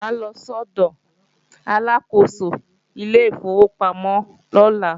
Mo máa lọ sọ́dọ̀ Aláàkóso ilé ìfowópamọ́ lọ́la